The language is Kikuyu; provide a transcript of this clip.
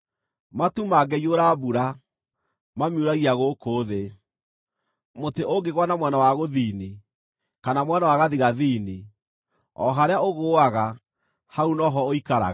Matu mangĩiyũra mbura, mamiuragia gũkũ thĩ. Mũtĩ ũngĩgũa na mwena wa gũthini, kana mwena wa gathigathini, o harĩa ũgũũaga, hau no ho ũikaraga.